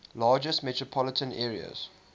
largest metropolitan areas